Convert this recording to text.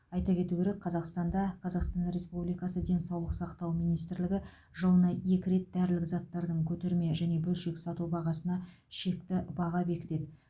айта кету керек қазақстанда қазақстан республикасы денсаулық сақтау министрлігі жылына екі рет дәрілік заттардың көтерме және бөлшек сату бағасына шекті баға бекітеді